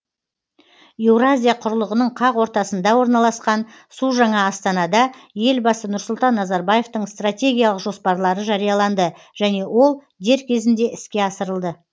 еуразия құрлығының қақ ортасында орналасқан су жаңа астанада елбасы нұрсұлтан назарбаевтың стратегиялық жоспарлары жарияланды және ол дер кезінде іске асырылды